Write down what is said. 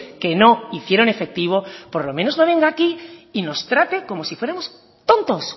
que no hicieron efectivo por lo menos no venga aquí y nos trate como si fuéramos tontos